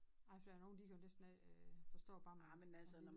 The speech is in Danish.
Nej for der er jo nogen de kan jo næsten ikke forstå bare en lille